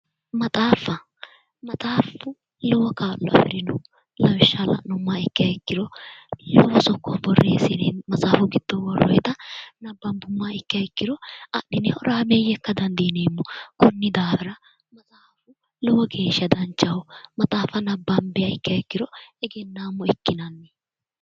Maxaafa maxaafu lowo kaa'lo afirino lawishsha la'nummoha ikkiha ikkiro lowo sokko boreessine maxaafu giddo borreessine worroyita nabbanbummoha ikkiha ikkiro adhine horaameye ikka dandiineemmo konni daafira maxaafu lowo geeshsha danchaho maxaafa nabbanbbiha ikkiha ikkiro egennaamo ikkinanni.